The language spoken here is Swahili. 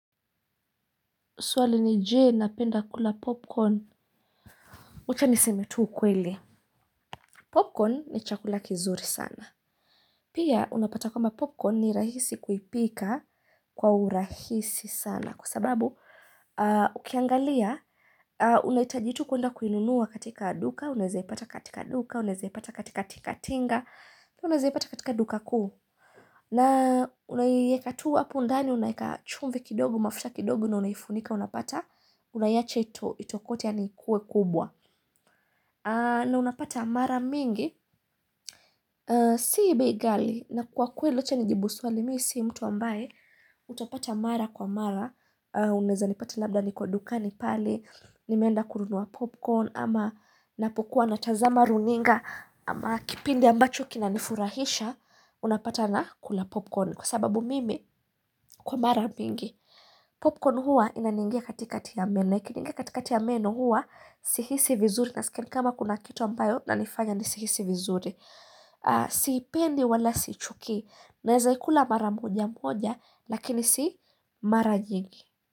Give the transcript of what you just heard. Suali nije napenda kula popcorn wacha nisimetu ukweli Popcorn ni chakula kizuri sana Pia unapata kama popcorn ni rahisi kuipika kwa urahisi sana kwa sababu ukiangalia unaita jitu kuenda kuinunua katika duka unazepata katika duka unazepata katika tinga unazepata katika duka kuu na unayekatu wapu undani unayeka chumvi kidogu mafusha kidogu na unayifunika unapata unayache ito itokote yanikue kubwa na unapata mara mingi sii bei gali na kwa kuweli acha nijibu suali misi mtu ambaye utapata mara kwa mara Uneza nipata labda ni kwa dukani pali nimenda kurunua popcorn ama napokuwa natazama runinga ama kipindi ambacho kinanifurahisha unapata na kula popcorn Kwa sababu mimi kwa mara mingi Popcorn huwa inaningia katika tiameno na ikiningia katika tiameno huwa Sihisi vizuri na sikini kama kuna kitu ambayo na nifanya ni sihisi vizuri Sipendi wala sichuki Naezaikula mara moja moja Lakini si mara jingi.